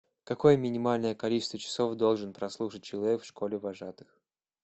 какое минимальное количество часов должен прослушать человек в школе вожатых